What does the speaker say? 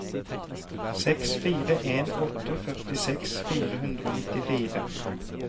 seks fire en åtte førtiseks fire hundre og nittifire